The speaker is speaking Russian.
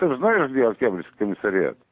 ты же знаешь где октябрьский комиссариат